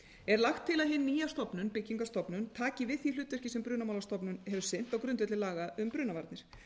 er lagt til að hin nýja stofnun byggingarstofnun taki við því hlutverki sem brunamálstofnun hefur sinnt á grundvelli laga um brunavarnir